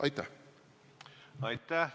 Aitäh!